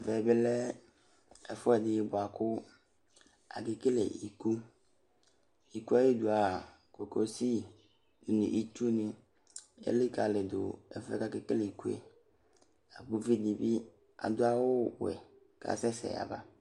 Ɛvɛ bi lɛvefuedi buakʊvakekele ɩkʊ Ɩkɩ ayɩdua kokosɩ nɩɩtsʊni elikalidu ɛfuɛvakekele ɩkʊe Ʊvɩ dibi adʊvawʊ wɛ kasɛsɛ aba